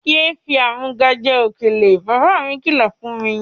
Ye fi í amúga jẹ òkèlè! Baba mí kí lọ fún mi.